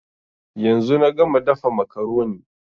Yanzu na gama dafa makaroni